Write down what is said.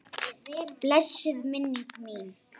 Blessuð er minning þín.